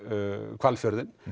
Hvalfjörðinn